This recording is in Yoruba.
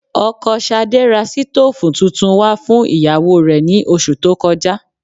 Ọkọ Ṣadé ra sítóòfù tuntun wá fún ìyàwó rẹ̀ ní oṣù tó kọjá